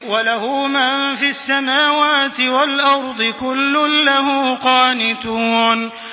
وَلَهُ مَن فِي السَّمَاوَاتِ وَالْأَرْضِ ۖ كُلٌّ لَّهُ قَانِتُونَ